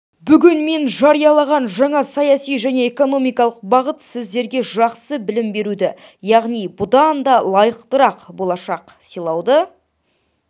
бүгін мен жариялаған жаңа саяси және экономикалық бағыт сіздерге жақсы білім беруді яғни бұдан да лайықтырақ болашақ сыйлауды